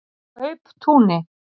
Kauptúni